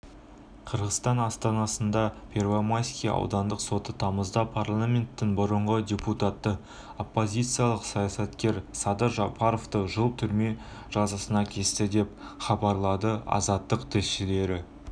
қырғызстан астанасындағы первомайский аудандық соты тамызда парламенттің бұрынғы депутаты оппозициялық саясаткер садыр жапаровты жыл түрме жазасына кесті деп хабарладыазаттықтілшілері